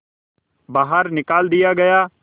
बाहर निकाल दिया गया